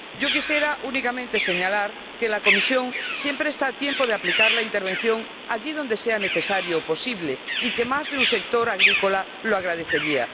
Quisiera señalar únicamente que la Comisión siempre está a tiempo de aplicar la intervención allí donde sea necesario o posible y que más de un sector agrícola lo agradecería.